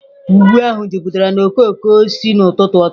Ugwu ahụ jupụtara na okooko osisi n'ụtụtụ taa.